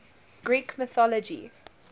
greek mythology